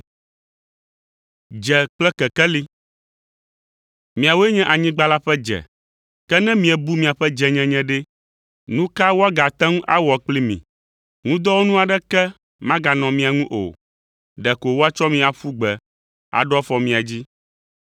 “Miawoe nye anyigba la ƒe dze. Ke ne miebu miaƒe dzenyenye ɖe, nu ka woagate ŋu awɔ kpli mi? Ŋudɔwɔnu aɖeke maganɔ mia ŋu o, ɖeko woatsɔ mi aƒu gbe, aɖo afɔ mia dzi.